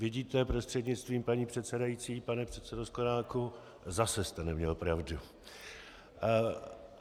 Vidíte, prostřednictvím paní předsedající pane předsedo Sklenáku, zase jste neměl pravdu.